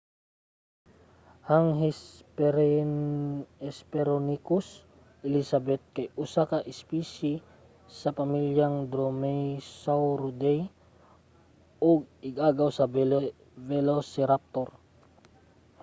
ang hesperonychus elizabeth kay usa ka espisye sa pamilyang dromaeosauridae ug ig-agaw sa velociraptor